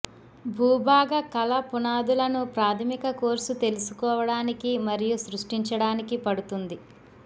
భూభాగ కళ పునాదులను ప్రాథమిక కోర్సు తెలుసుకోవడానికి మరియు సృష్టించడానికి పడుతుంది